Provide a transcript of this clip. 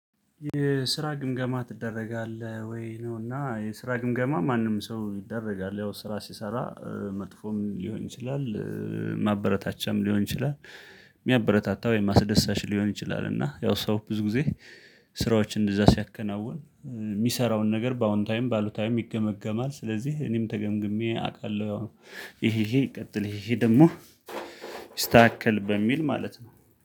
የስራ ግምገማ ትደረጋለህ ወይ? ነው እና የስራ ግምገማ ማንም ሰው ይደረጋል ያው ስራ ሲሰራ እ መጥፎም ሊሆን ይችላል እእ ማበረታቻም ሊሆን ይችላል። የሚያበረታታ ወይም አስደሳች ሊሆን ይችላል እና ያው ሰው ብዙ ጊዜ ስራዎች እንደዛ ሲያከናውን እ ሚሰራውን ነገር በአዎንታዊም በአሉታዊም ይገመገማል ስለዚህ እኔም ተገምግሜ አቃለሁ። ይሄ ይሄ ቀጥል ይሄ ደግሞ ይስታከል በሚል ማለት ነው